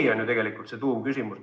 See on ju tegelikult tuumküsimus.